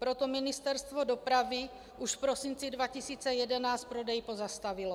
Proto Ministerstvo dopravy už v prosinci 2011 prodej pozastavilo.